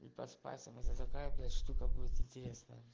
и поспать со мной это такая блядь штука будет интересная